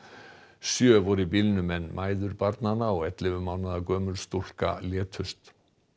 sjö voru í bílnum en mæður barnanna og ellefu mánaða gömul stúlka létust